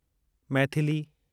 Maithili